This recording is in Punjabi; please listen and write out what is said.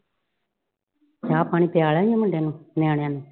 ਚਾਹ ਪਾਣੀ ਪੀਆ ਲਿਆ ਈ ਆ ਮੁੰਡੇ ਨੂੰ ਨਿਆਣਿਆਂ ਨੂੰ।